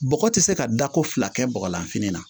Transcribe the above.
Bɔgɔ ti se ka da ko fila kɛ bɔgɔlanfini na